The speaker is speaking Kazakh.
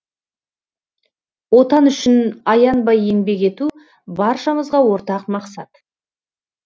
отан үшін аянбай еңбек ету баршамызға ортақ мақсат